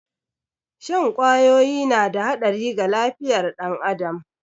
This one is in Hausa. Shan kwawoyi na da haɗari ga lafiyar ɗan adam